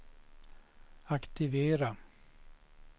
aktivera